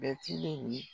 Bɛtiri